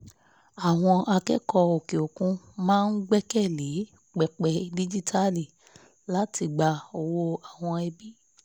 àwọn akẹ́kọ̀ọ́ òkè òkun máa ń gbẹ́kẹ̀ lé pẹpẹ díjíítàálì láti gba owó àwọn ẹbí